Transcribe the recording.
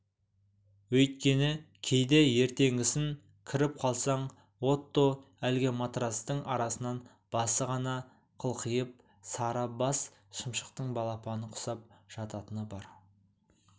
өйткені кейде ертеңгісін кіріп қалсаң отто әлі матрацтың арасынан басы ғана қылқиып сары бас шымшықтың балапаны құсап жататыны бар